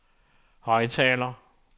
højttaler